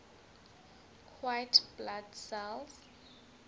white blood cells